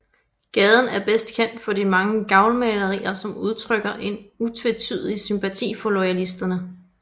Gaden er bedst kendt for de mange gavlmalerier som udtrykker en utvetydig sympati for loyalisterne